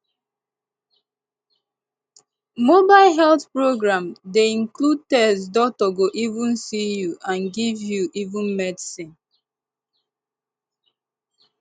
mobile health program dey include test doctor go even see you and give you even medicine